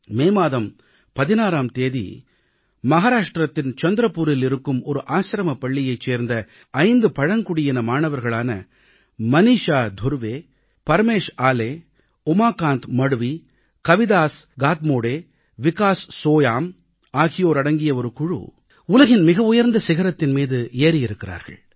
மே மாதம் 16ஆம் தேதி மகாராஷ்டிரத்தின் சந்திரப்பூரில் இருக்கும் ஒரு ஆசிரமப் பள்ளியைச் சேர்ந்த 5 பழங்குடியின மாணவர்களான மனீஷா துருவே பிரமேஷ் ஆலே உமாகாந்த் மட்வி கவிதாஸ் காத்மோடே விகாஸ் சோயாம் ஆகியோர் அடங்கிய ஒரு குழு உலகின் மிக உயர்ந்த சிகரத்தின் மீது ஏறியிருக்கிறார்கள்